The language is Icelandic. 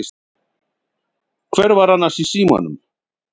Hver var annars í símanum?